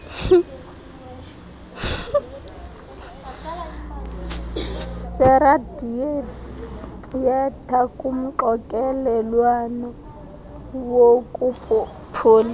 seradiyetha kumxokelelwano wokupholisa